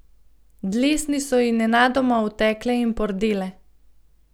Dlesni so ji nenadoma otekle in pordele.